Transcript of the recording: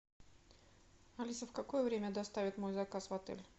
алиса в какое время доставят мой заказ в отель